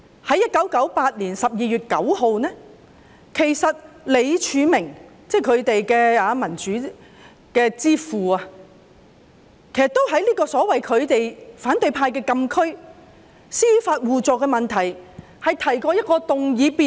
在1998年12月9日，他們的民主之父李柱銘也曾在反對派所謂的"禁區"，就是司法互助的問題上，提出一項議案辯論。